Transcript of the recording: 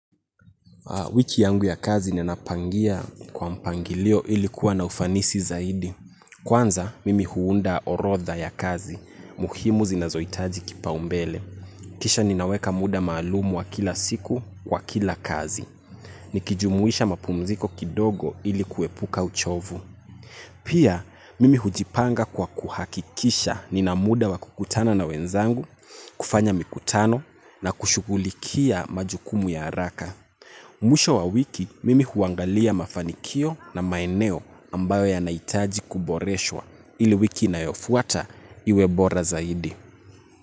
Wiki yangu ya kazi nina pangia kwa mpangilio ili kuwa na ufanisi zaidi. Kwanza, mimi huunda orodha ya kazi, muhimu zinazoitaji kipa umbele. Kisha ninaweka muda maalumu wa kila siku, kwa kila kazi. Nikijumuisha mapumziko kidogo ili kuwepuka uchovu. Pia, mimi hujipanga kwa kuhakikisha nina muda wa kukutana na wenzangu, kufanya mikutano, na kushugulikia majukumu ya haraka. Mwisho wa wiki mimi huangalia mafanikio na maeneo ambayo yanaitaji kuboreshwa ili wiki inayofuata iwe bora zaidi.